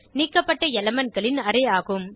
நீக்கப்பட்ட elementகளின் அரே ஆகும்